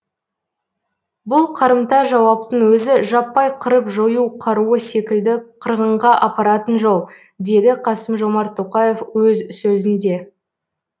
бұл қарымта жауаптың өзі жаппай қырып жою қаруы секілді қырғынға апаратын жол деді қасым жомарт тоқаев өз сөзінде